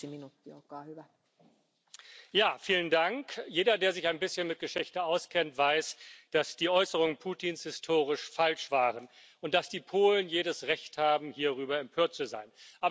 Frau Präsidentin! Jeder, der sich ein bisschen mit Geschichte auskennt, weiß, dass die Äußerungen Putins historisch falsch waren und dass die Polen jedes Recht haben, hierüber empört zu sein.